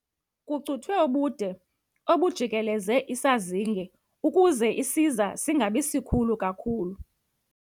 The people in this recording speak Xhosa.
Kucuthwe ubude obujikeleze isazinge ukuze isiza singabi sikhulu kakhulu.